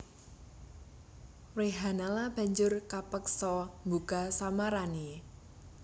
Wrehanala banjur kapeksa mbuka samarané